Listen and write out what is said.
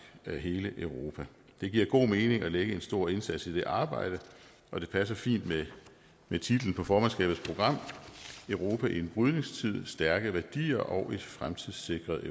hele europa det giver god mening at lægge en stor indsats i det arbejde og det passer fint med titlen på formandskabets program europa i en brydningstid stærke værdier og et fremtidssikret